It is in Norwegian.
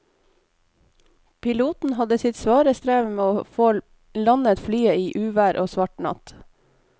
Piloten hadde sitt svare strev med å få landet flyet i uvær og svart natt.